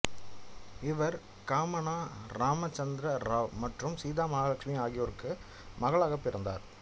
இவர் காமனா இராம்சந்தர் ராவ் மற்றும் சீதா மகாலட்சுமி ஆகியோருக்கு மகளாகப் பிறந்தார்